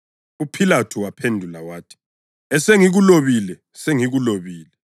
UPhilathu waphendula wathi, “Esengikulobile, sengikulobile.”